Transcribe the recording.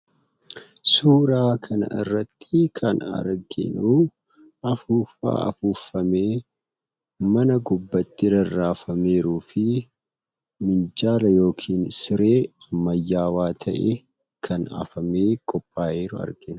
Suuraa kana irratti kan arginuu afuuffaa afuuffamee mana gubbatti rarraafameeruu fi minjaala yookin siree ammayyaawaa ta'e kan afamee qophaa'eeru argina.